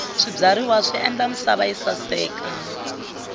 swibyariwa swi endla misava yi saseka